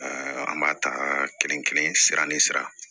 an b'a ta kelen kelen sira ni sira